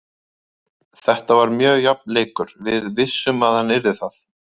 Þetta var mjög jafn leikur, við vissum að hann yrði það.